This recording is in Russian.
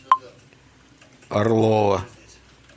орлова